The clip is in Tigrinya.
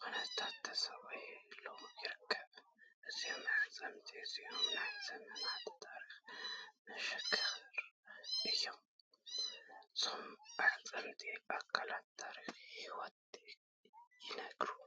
ኩነታት ተሰቒሉ ይርከብ። እዞም ኣዕጽምቲ እዚኦም ናይ ዘመናት ታሪኽ መሰኻኽር እዮም፤ ዛንታ ኣመጻጽኣ ኣካልን ታሪኽ ህይወትን ይነግሩ።